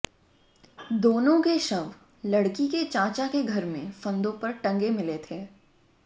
दोनों के शव लड़की के चाचा के घर में फंदों पर टंगे मिले थे